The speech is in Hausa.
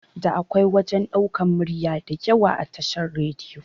Da akwai wajan ɗaukan murya diyawa a tashar radiyo